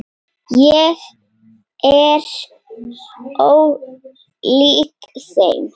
Ég er ólík þeim.